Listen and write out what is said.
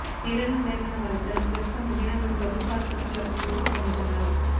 తీవ్రంగా గాయపడిన వారిద్దరూ ప్రస్తుతం విజయనగరం ప్రభుత్వ ఆసుపత్రిలో చికిత్స పొందుతున్నారు